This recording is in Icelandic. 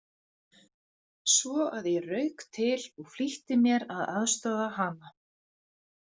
Svo að ég rauk til og flýtti mér að aðstoða hana.